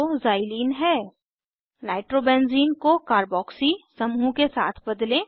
nitrobenzene nitrobenzene को carboxy carboxy समूह के साथ बदलें